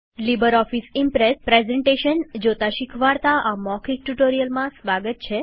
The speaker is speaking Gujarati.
લીબરઓફીસ ઈમ્પ્રેસ પ્રેઝન્ટેશન જોતા શીખવાડતા આ મૌખિક ટ્યુટોરીયલમાં સ્વાગત છે